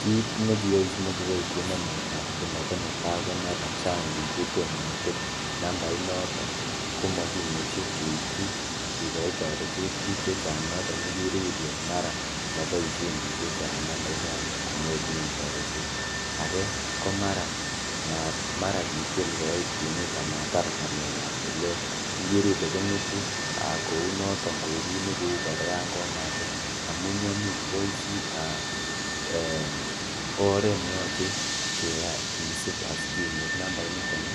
kiit nekiyai simakiboishen nambaitab huduma konetaa komara chang biik chetommo kotil nambainoton komokimuche keityi kikoi toretet biik chechang noton ikere ilee mara moboishen biik chechang nambait noton konyorunen toretet, akee komara mara kitil koit kwenet amatar ngalekab tilet ikere ilee kong'etu kounoton kou u kiit nekouu kora yoon komatil amun yoon metwoisi eeh oreet neyoche kisib asikenyorr nambainiton